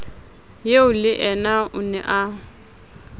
eo leyena o ne a